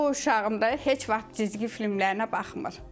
O uşağımda heç vaxt cizgi filmlərinə baxmır.